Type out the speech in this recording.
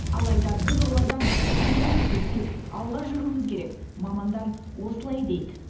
алайда біз олардан кем емеспіз тек алға жүруіміз керек мамандар осылай дейді